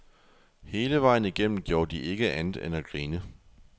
Hele vejen igennem gjorde de ikke andet end at grine.